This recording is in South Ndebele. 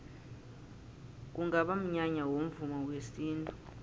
kungaba mnyanya womvumo wesintu